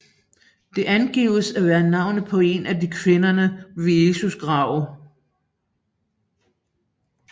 Det angives at være navnet på en af kvinderne ved Jesu grav